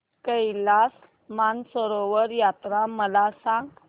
कैलास मानसरोवर यात्रा मला सांग